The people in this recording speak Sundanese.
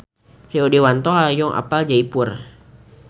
Rio Dewanto hoyong apal Jaipur